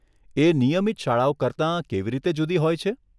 એ નિયમિત શાળાઓ કરતાં કેવી રીતે જુદી હોય છે?